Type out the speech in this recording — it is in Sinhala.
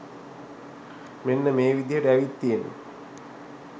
මෙන්න මේ විදියට ඇවිත් තියෙන්නෙ.